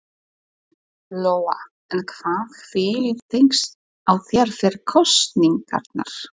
Lóa: En hvað hvílir þyngst á þér fyrir kosningarnar?